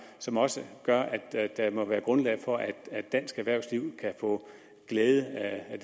som også gør at der må være grundlag for at dansk erhvervsliv kan få glæde af